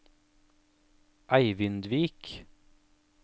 Eivindvik